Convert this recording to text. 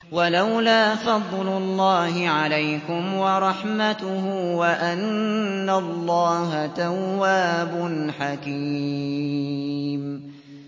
وَلَوْلَا فَضْلُ اللَّهِ عَلَيْكُمْ وَرَحْمَتُهُ وَأَنَّ اللَّهَ تَوَّابٌ حَكِيمٌ